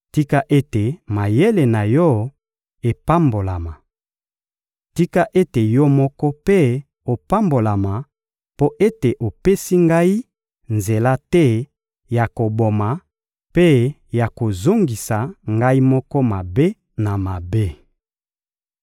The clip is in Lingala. Tika ete mayele na yo epambolama! Tika ete yo moko mpe opambolama mpo ete opesi ngai nzela te ya koboma mpe ya kozongisa ngai moko mabe na mabe!